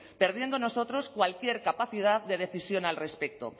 perdiendo nosotros cualquier capacidad de decisión al respecto